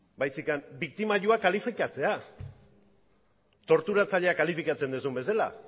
baizik eta biktimak kalifikatzea torturatzaileak kalifikatzen duzuen bezala